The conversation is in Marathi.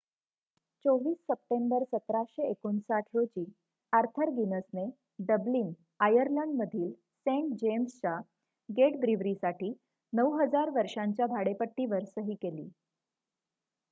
२४ सप्टेंबर १७५९ रोजी आर्थर गिनसने डब्लिन आयर्लंडमधील सेंट जेम्सच्या गेट ब्रीवरीसाठी ९००० वर्षांच्या भाडेपट्टीवर सही केली